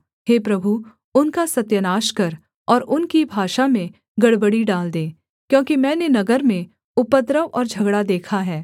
हे प्रभु उनका सत्यानाश कर और उनकी भाषा में गड़बड़ी डाल दे क्योंकि मैंने नगर में उपद्रव और झगड़ा देखा है